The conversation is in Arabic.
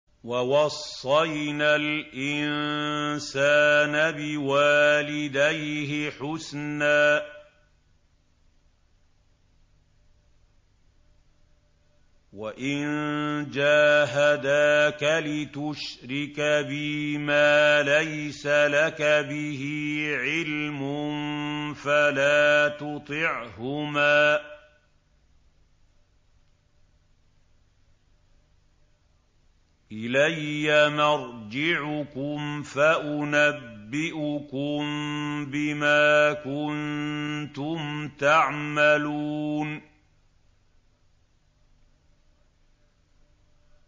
وَوَصَّيْنَا الْإِنسَانَ بِوَالِدَيْهِ حُسْنًا ۖ وَإِن جَاهَدَاكَ لِتُشْرِكَ بِي مَا لَيْسَ لَكَ بِهِ عِلْمٌ فَلَا تُطِعْهُمَا ۚ إِلَيَّ مَرْجِعُكُمْ فَأُنَبِّئُكُم بِمَا كُنتُمْ تَعْمَلُونَ